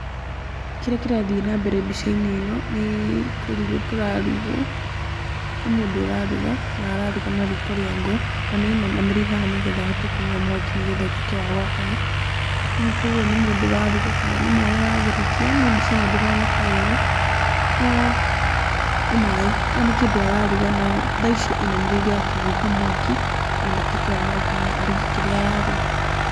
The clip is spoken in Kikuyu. Kĩrĩa kĩrathiĩ na mbere mbica-inĩ ĩno, nĩ kũrugwo kũrarugwo, nĩ mũndũ ũraruga na araruga na riko ria ngũ, na nĩ ainamĩrĩire haha nĩgetha ahote kũhuha mwaki na nĩ getha ũtuĩke wa gwakana. ĩni koguo nĩ mũndũ ũraruga kana nĩ maaĩ aratherũkia no mbica ĩno ndĩroneka wega, no nĩ maĩ, a nĩ kĩndũ araruga no tha ici ainamĩrĩire akĩhuha mwaki, nĩ getha ũtuĩke wa gwakana aruge kĩrĩa araruga.